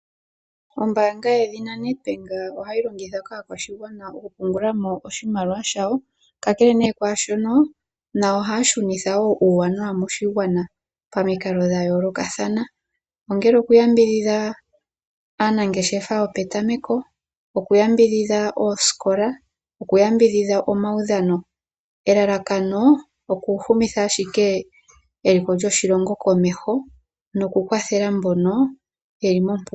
Ombaanga yedhina NED BANK ohayi longithwa kaakwashigwa oku pungula mo oshimaliwa shawo, kakele nee kwaashono nayo ohaya shunitha uuwanawa moshigwana pamikalo dha yoolokathana, ongele odhaanangeshefa yopetameko, okuyambidhidha oosikola, okuyambidhidha omaudhano. Elalakano okuhumitya ashike eliko lyoshilongo komeho noku yambidhidha mbono ye li moompumbwe.